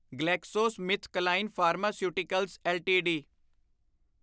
GlaxoSmithKline pharmaceuticals LTD